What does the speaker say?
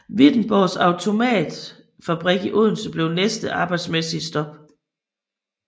Wittenborgs Automatfabrik i Odense blev næste arbejdsmæssige stop